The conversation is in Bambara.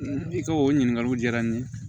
I ka o ɲininkaliw diyara n ye